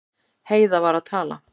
Heiða var að tala.